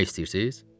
Ölmək istəyirsiz?